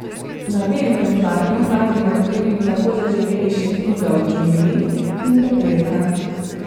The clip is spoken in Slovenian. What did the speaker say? Na velikem platnu naj bi med drugim tako zaživeli še Knjiga o džungli in Pepelka.